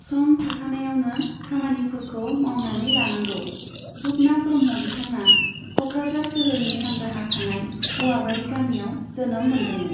सम थाखानायावनो खामानिफोरखौ मावनानै लानांगौ। रुपनाथ ब्रह्म बिथाङा क'क्राझार सोहोरनि सानजाहा थानाय औवाबारि गामियाव जोनोम मोन्दोंमोन।